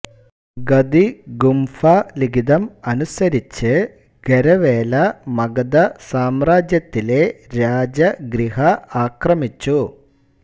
ഹഥിഗുമ്ഫ ലിഖിതം അനുസരിച്ച് ഖരവേല മഗധ സാമ്രാജ്യത്തിലെ രാജഗ്രിഹ ആക്രമിച്ചു